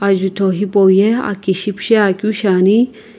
jutho hipau ye aki shipishe akeu shiani.